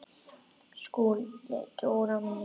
SKÚLI: Dóra mín!